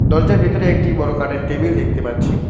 দরজার ভেতরে একটি বড় কাঠের টেবিল দেখতে পাচ্ছি।